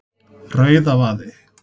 Rauðavaði